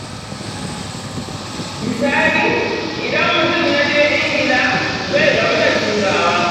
Misali, idan mutum ya je Ingila, zai gamu da Turawa.